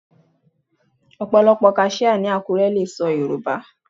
Ọ̀pọ̀lọ́pọ̀ àwọn kaṣíá ní Àkúré lè sọ Yorùbá.